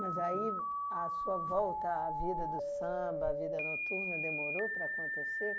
Mas aí, a sua volta, a vida do samba, a vida noturna, demorou para acontecer?